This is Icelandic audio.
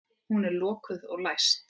Hún er lokuð og læst.